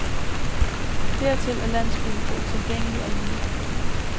Dertil er landsbyen for utilgængelig og lille.